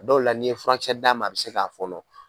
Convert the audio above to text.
Dɔw la n'i ye furakisɛ d'a ma a bɛ se k'a fɔnɔ